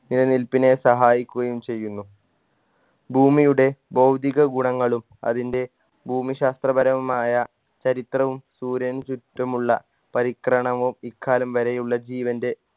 നിലനിൽപ്പിനെ സഹായിക്കുകയും ചെയ്യുന്നു ഭൂമിയുടെ ഭൗതീക ഗുണങ്ങളും അതിൻറെ ഭൂമിശാസ്ത്രപരമായ ചരിത്രവും സൂര്യനു ചുറ്റുമുള്ള പരിക്രണവും ഇക്കാലം വരെയുള്ള ജീവൻറെ